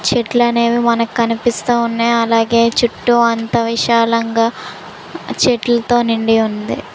చెట్లు అనేవి మనకి కనిపిస్తూ ఉన్నాయి అలాగే చుట్టూ అంత విశాలంగా చెట్లతో నిండి ఉంది.